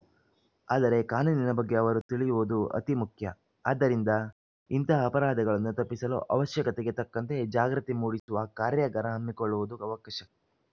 ಆದರೆ ಕಾನೂನಿನ ಬಗ್ಗೆ ಅವರು ತಿಳಿಯುವುದು ಅತೀ ಮುಖ್ಯ ಆದ್ದರಿಂದ ಇಂತಹ ಅಪರಾಧಗಳನ್ನು ತಪ್ಪಿಸಲು ಅವಶ್ಯಕತೆಗೆ ತಕ್ಕಂತೆ ಜಾಗೃತಿ ಮೂಡಿಸುವ ಕಾರ್ಯಾಗಾರ ಹಮ್ಮಿಕೊಳ್ಳುವುದು ಅವಕಶ